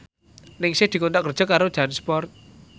Ningsih dikontrak kerja karo Jansport